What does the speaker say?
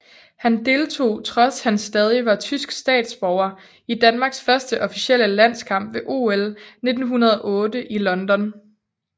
Han deltog trods at han stadig var tysk statsborger i Danmarks første officielle landskamp ved OL 1908 i London